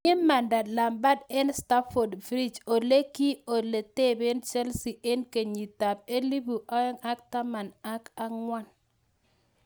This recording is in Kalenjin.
Kimanda Lampard en Stamford Bridge ole ki ole tebeen Chelsea en kenyitab 2014